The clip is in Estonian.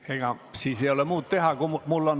Ega siis ei ole muud teha, kui ...